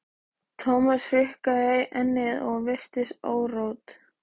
Thomas hrukkaði ennið og virtist órótt.